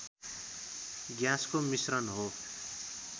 ग्याँसको मिश्रण हो